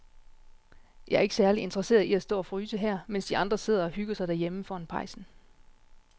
Jeg er ikke særlig interesseret i at stå og fryse her, mens de andre sidder og hygger sig derhjemme foran pejsen.